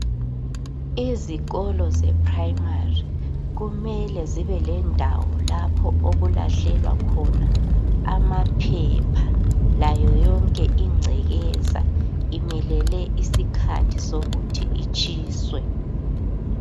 Izikolo zePrimary kumele zibe lendawo lapho okulahlelwa khona amaphepha layo yonke ingcekeza imelele isikhathi sokuthi itshiswe.